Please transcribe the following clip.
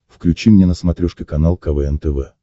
включи мне на смотрешке канал квн тв